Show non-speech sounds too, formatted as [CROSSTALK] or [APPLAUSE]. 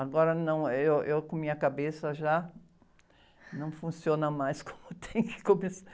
Agora não, eu, eu com minha cabeça já não funciona mais como tem que. [UNINTELLIGIBLE]